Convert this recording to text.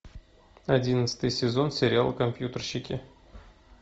одиннадцатый сезон сериал компьютерщики